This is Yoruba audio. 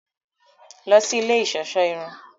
Lọ sí ilé iṣọṣọ irun!